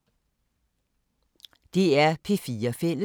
DR P4 Fælles